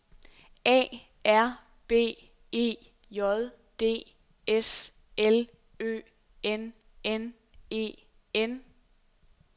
A R B E J D S L Ø N N E N